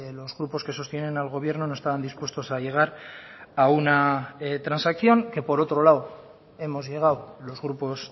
los grupos que sostienen al gobierno no estaban dispuestos a llegar a una transacción que por otro lado hemos llegado los grupos